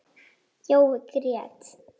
Jói grét.